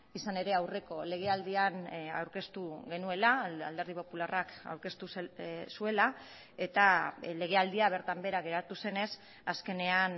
izan ere aurreko legealdian aurkeztu genuela alderdi popularrak aurkeztu zuela eta legealdia bertan behera geratu zenez azkenean